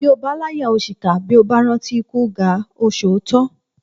Bí ó bá láyà ó ṣìkà bí ó bá rántí ikú gáà o sòótọ́